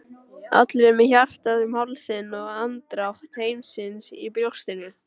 allir með hjartað um hálsinn og andardrátt heimsins í brjóstinu.